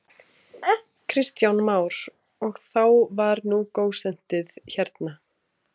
Kristján Már: Og þá var nú gósentíð hérna?